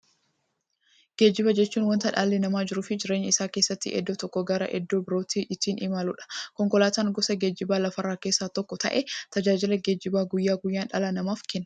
Geejjiba jechuun wanta dhalli namaa jiruuf jireenya isaa keessatti iddoo tokkoo gara iddoo birootti ittiin imaluudha. Konkolaatan gosa geejjibaa lafarraa keessaa tokko ta'ee, tajaajila geejjibaa guyyaa guyyaan dhala namaaf kenna.